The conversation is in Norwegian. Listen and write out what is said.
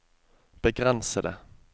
begrensede